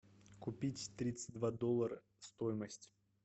купить тридцать два доллара стоимость